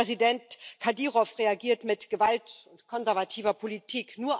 Präsident Kadyrow reagiert mit Gewalt und konservativer Politik.